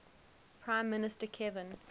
prime minister kevin